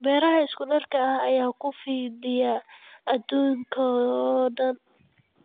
Beeraha isku-darka ah ayaa ku fidaya adduunka oo dhan.